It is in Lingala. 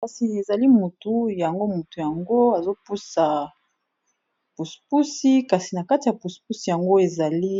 Kasi ezali motu yango motu yango azo puse pusi kasi na kati ya puse pusi yango ezali